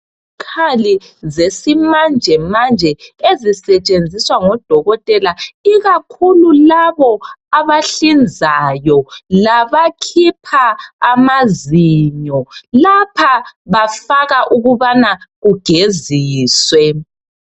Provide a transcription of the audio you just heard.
Izikhali zesimanje manje ezisetshenziswa ngodokotela ikakhulu labo abahlinzayo labakhipha amazinyo. Lapha bafaka ukubana kugeziswe.